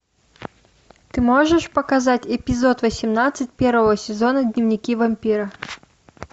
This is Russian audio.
ты можешь показать эпизод восемнадцать первого сезона дневники вампира